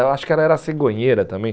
Ela acha que era a cegonheira também.